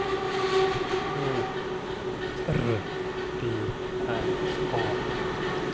O R D N A